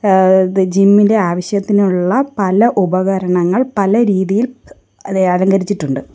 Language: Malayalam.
ഏഹ് ദ ജിം ഇൻ്റെ ആവശ്യത്തിനുള്ള പല ഉപകരണങ്ങൾ പല രീതിയിൽ ഏഹ് അലങ്കരിച്ചിട്ടുണ്ട്.